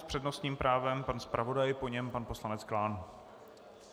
S přednostním právem pan zpravodaj, po něm pan poslanec Klán.